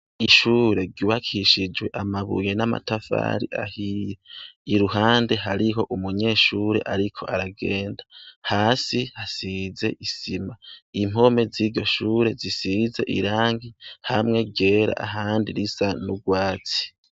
Ishure ryubakishijwe amabuye n'amatafari ahiye iruhande hariho umunyeshure ariko aragenda hasi hasize isima impome z'iryo shure zisize irangi, hamwe ryera ahandi risa n'ubwatsi.